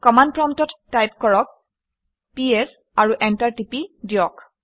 command প্ৰম্পটত type কৰক PS আৰু এণ্টাৰ টিপি দিয়ক